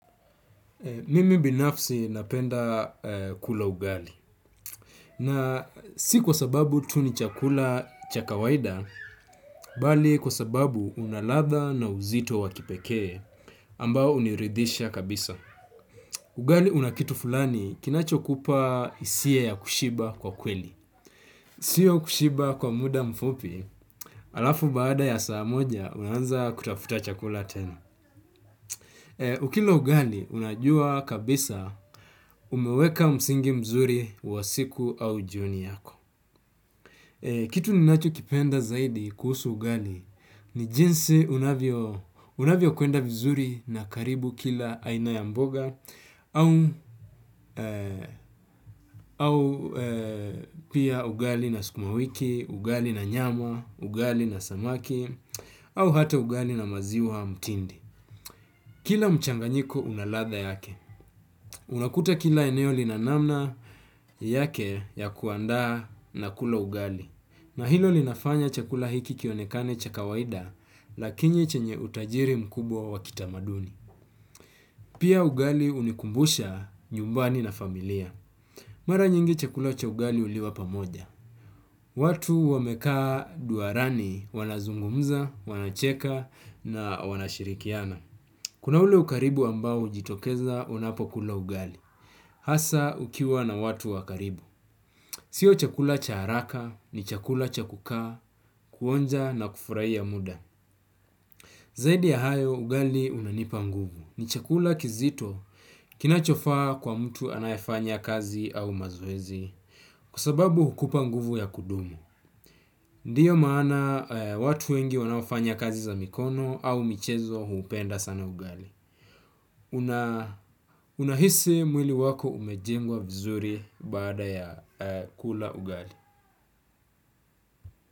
Mimi binafsi napenda kula ugali na si kwa sababu tu ni chakula cha kawaida, bali kwa sababu una ladha na uzito wa kipekee ambao uniridisha kabisa. Ugali una kitu fulani kinacho kupa hisia ya kushiba kwa kweli. Sio kushiba kwa muda mfupi alafu baada ya saa moja unaanza kutafuta chakula tena. Ukila ugali, unajua kabisa umeweka msingi mzuri wa siku au jioni yako. Kitu ninachokipenda zaidi kuhusu ugali ni jinsi unavyokwenda vizuri na karibu kila aina ya mboga au pia ugali na sukumawiki, ugali na nyama, ugali na samaki, au hata ugali na maziwa mtindi. Kila mchanganyiko una ladha yake. Unakuta kila eneo lina namna yake ya kuandaa na kula ugali. Na hilo linafanya chakula hiki kionekane cha kawaida lakini chenye utajiri mkubwa wa kitamaduni. Pia ugali unikumbusha nyumbani na familia. Mara nyingi chakula cha ugali uliwa pamoja. Watu wamekaa duarani wanazungumza, wanacheka na wanashirikiana. Kuna ule ukaribu ambao ujitokeza unapo kula ugali. Hasa ukiwa na watu wa karibu. Sio chakula cha haraka ni chakula cha kukaa kuonja na kufurahia muda. Zaidi ya hayo, ugali unanipa nguvu. Ni chakula kizito kinachofaa kwa mtu anayefanya kazi au mazoezi kwa sababu hukupa nguvu ya kudumu. Ndiyo maana watu wengi wanaofanya kazi za mikono au michezo huupenda sana ugali. Una hisi mwili wako umejengwa vizuri baada ya kula ugali.